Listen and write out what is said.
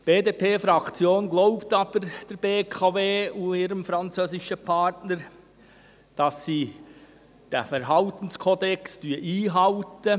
Die BDP-Fraktion glaubt aber der BKW und ihrem französischen Partner, dass sie den Verhaltenskodex einhalten.